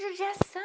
judiação.